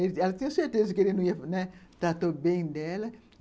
Ela tinha certeza que ele não ia, né, tratou bem dela.